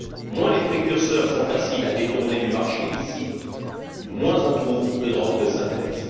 Moins les précurseurs sont faciles à détourner du marché licite, moins on trouve de drogues de synthèse.